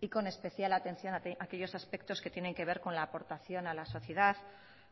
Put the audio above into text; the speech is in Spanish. y con especial atención a aquellos aspectos que tienen que ver con la aportación a la sociedad